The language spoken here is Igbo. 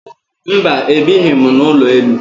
Mba, ebighị m n'ụlọ elu